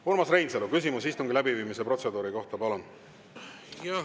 Urmas Reinsalu, küsimus istungi läbiviimise protseduuri kohta, palun!